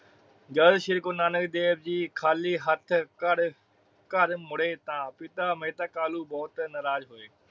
ਜਦੋ ਸ਼੍ਰੀ ਗੁਰੂ ਨਾਨਕ ਦੇਵ ਜੀ ਖਾਲੀ ਹੱਥ ਘਡਘਰ ਮੁੜੇ ਤਾ ਮਹਿਤਾ ਕਾਲੁ ਬੋਹਤ ਨਾਰਾਜ ਹੋਏ।